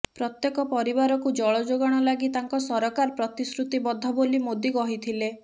ପ୍ରତ୍ୟେକ ପରିବାରକୁ ଜଳଯୋଗାଣ ଲାଗି ତାଙ୍କ ସରକାର ପ୍ରତିଶ୍ରୁତିବଦ୍ଧ ବୋଲି ମୋଦି କହିଥିଲେ